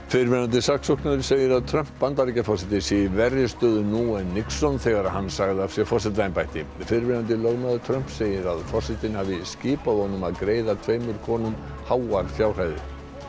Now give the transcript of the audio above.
fyrrverandi saksóknari segir að Trump Bandaríkjaforseti sé í verri stöðu nú en Nixon þegar hann sagði af sér forsetaembætti fyrrverandi lögmaður Trumps segir að forsetinn hafi skipað honum að greiða tveimur konum háar fjárhæðir